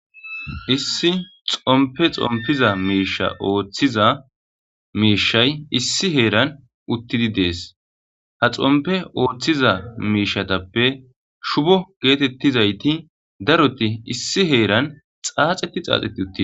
Issi xompe xompiza miisha ooththiza miishay issi heeran uttidi dees ha xompe ooththiza miishatappe shubo geetettizayti daroti issi heeran xaaxeti xaaxeti uttidi.